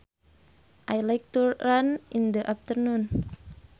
I like to run in the afternoon